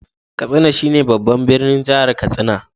Katsina shi ne babban birnin Jihar Katsina.